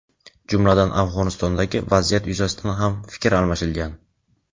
jumladan Afg‘onistondagi vaziyat yuzasidan ham fikr almashilgan.